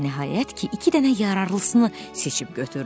Nəhayət ki, iki dənə yararlısını seçib götürdü.